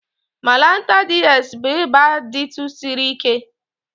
Malanta DS bụ ịba dtu siri ike